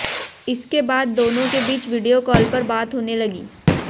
इसके बाद दोनों के बीच वीडियो कॉल पर बात होने लगी